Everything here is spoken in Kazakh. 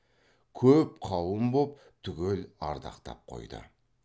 көп қауым боп түгел ардақтап қойды